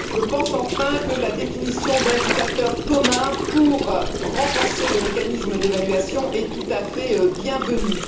Je pense, enfin, que la définition d'indicateurs communs pour renforcer le mécanisme d'évaluation est tout à fait la bienvenue.